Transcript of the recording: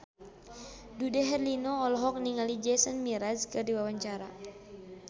Dude Herlino olohok ningali Jason Mraz keur diwawancara